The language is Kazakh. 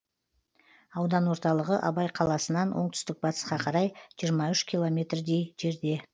аудан орталығы абай қаласынан оңтүстік батысқа қарай жиырма үш километрдей жерде